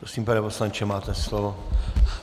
Prosím, pane poslanče, máte slovo.